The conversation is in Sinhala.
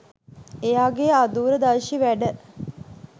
එයාගේ අදූරදර්ශී වැඩ